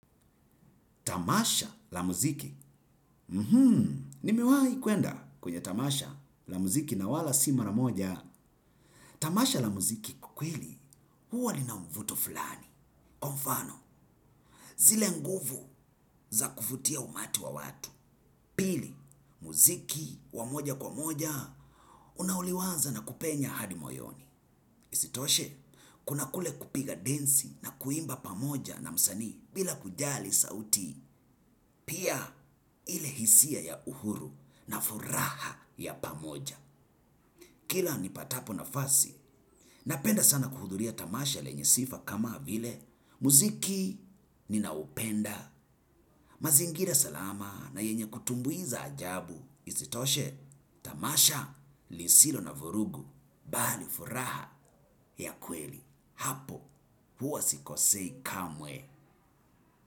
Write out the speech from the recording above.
Tamasha la muziki, mhm, nimewai kwenda kwenye tamasha la muziki na wala si mara moja. Tamasha la muziki kwakweli, huwa lina mvuto fulani. Kwa mfano, zile nguvu za kuvutia umati wa watu. Pili, muziki wa moja kwa moja, unaoliwaza na kupenya hadi moyoni. Isitoshe, kuna kule kupiga densi na kuimba pa moja na msani bila kujali sauti. Pia ile hisia ya uhuru na furaha ya pamoja kila nipatapo na fasi napenda sana kuhudhuria tamasha lenye sifa kama vile muziki ninaupenda. Mazingira salama na yenye kutumbuiza ajabu. Isitoshe tamasha lisilo na vurugu bali furaha ya kweli hapo huwa sikosei kamwe.